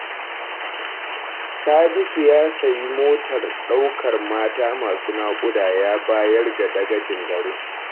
Sadisu ya sayi motar ɗaukar mata masu naƙuda ya bayar ga dagacin garin